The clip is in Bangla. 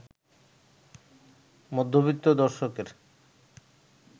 মধ্যবিত্ত দর্শকের